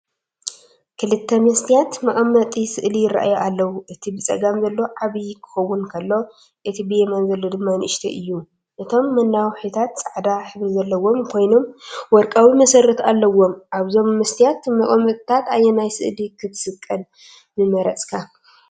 ክልተ መስትያት መቐመጢ ስእሊ ይራኣዩ ኣለዉ። እቲ ብጸጋም ዘሎ ዓቢ ክኸውን ከሎ፡ እቲ ብየማን ዘሎ ድማ ንእሽቶ እዩ። እቶም መናውሒታት ጻዕዳ ሕብሪ ዘለዎም ኮይኖም ወርቃዊ መሰረት ኣለዎም። ኣብዞም መስትያት መቀመጥታት ኣየናይ ስእሊ ክትሰቕል ምመረጽካ?